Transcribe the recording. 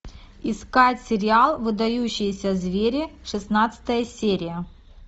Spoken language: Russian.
искать сериал выдающиеся звери шестнадцатая серия